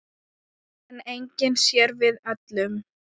En enginn sér við öllum.